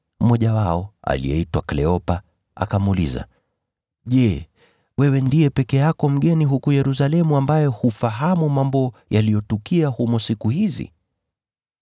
Mmoja wao, aliyeitwa Kleopa, akamuuliza, “Je, wewe ndiye peke yako mgeni huku Yerusalemu ambaye hufahamu mambo yaliyotukia humo siku hizi?”